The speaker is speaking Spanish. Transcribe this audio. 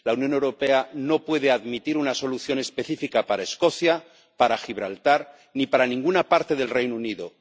La Unión Europea no puede admitir una solución específica para Escocia, para Gibraltar, ni para ninguna parte del Reino Unido.